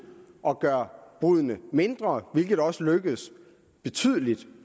at gøre bruddene mindre hvilket også lykkedes betydeligt